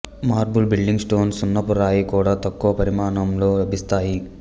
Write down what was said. marble building stone సున్నపురాయి కూడా తక్కువ పరిమాణంలో లభిస్తాయి